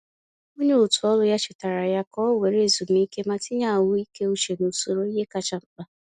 Onye otù ọrụ ya chetaara ya ka ọ were ezumike ma tinye ahụike uche n’usoro ihe kacha mkpa.